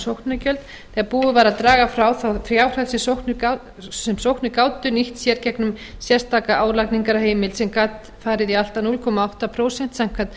sóknargjöld þegar búið var að draga frá þá fjárhæð sem sóknir gátu nýtt sér gegnum sérstaka álagningarheimild sem gat farið í allt að núll komma átta prósent samkvæmt